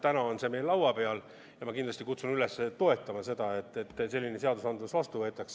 Täna on see eelnõu meil laua peal ja ma kindlasti kutsun üles toetama seda, et selline seadus vastu võetaks.